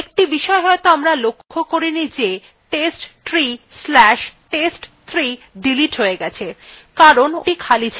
একটি বিষয় হয়তো আমরা লক্ষ্য করিনি যে testtree/test3 ডিলিট হয়ে গেছে কারণ ওটি খালি ছিল